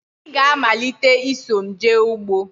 Ị ga-amalite ịsọ m jee ugbo!